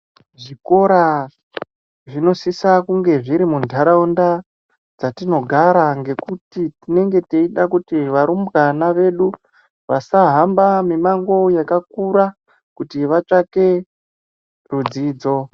Zvikora zvinosisa kunge zviri muntaraunda dzetinogara ngekuti tinenge teide kuti varumbwana vedu vasahamba mimango yakakura kuti vatsvake zvidzidzo.